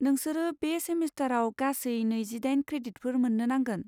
नोंसोरो बे सेमिस्टाराव गासै नैजिदाइन क्रेडिटफोर मोन्नो नांगोन।